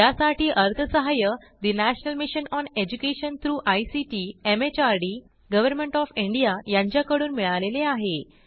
यासाठी अर्थसहाय्य national mission on education through ICT MHRD government of India यांच्याकडून मिळालेले आहे